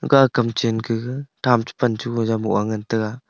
ka kam chan ka tham chapan chu jao a boh a ngan taga.